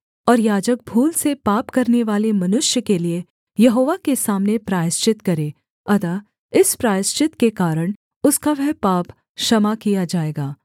और याजक भूल से पाप करनेवाले मनुष्य के लिये यहोवा के सामने प्रायश्चित करे अतः इस प्रायश्चित के कारण उसका वह पाप क्षमा किया जाएगा